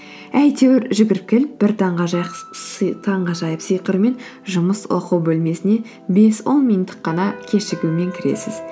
әйтеуір жүгіріп келіп бір таңғажайып сыйқырмер жұмыс оқу бөлмесіне бес он минуттық қана кешігумен кіресіз